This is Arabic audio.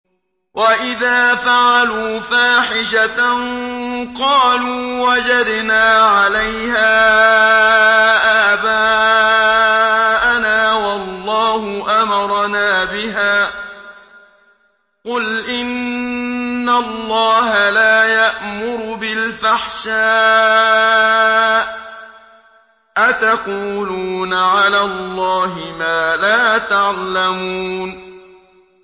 وَإِذَا فَعَلُوا فَاحِشَةً قَالُوا وَجَدْنَا عَلَيْهَا آبَاءَنَا وَاللَّهُ أَمَرَنَا بِهَا ۗ قُلْ إِنَّ اللَّهَ لَا يَأْمُرُ بِالْفَحْشَاءِ ۖ أَتَقُولُونَ عَلَى اللَّهِ مَا لَا تَعْلَمُونَ